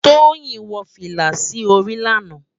Toyin wò filá si óri làná